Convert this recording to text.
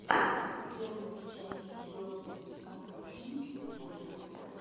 первая часть йоги конторшен джулиа